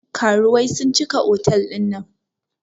Karuwai sun cika otal ɗin nan